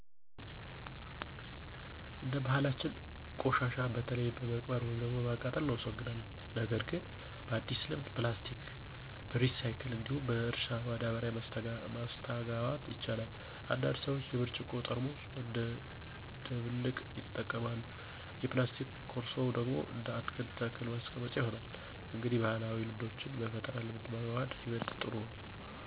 እንደ ባህላችን ቆሻሻ በተለይ በመቅበር ወይም በማቃጠል እናስወግዳለን። ነገር ግን በአዲስ ልምድ ፕላስቲክ በሪሳይክል እንዲሁም በእርሻ ማዳበሪያ ማስተጋባት ይቻላል። አንዳንድ ሰዎች የብርጭቆ ጠርሙስ እንደ ደብልቅ ይጠቀማሉ፣ የፕላስቲክ ኮርሶ ደግሞ እንደ አትክልት ተክል ማስቀመጫ ይሆናል። እንግዲህ ባህላዊ ልምዶችን በፈጠራ ልምድ ማዋሃድ ይበልጥ ጥሩ ነው።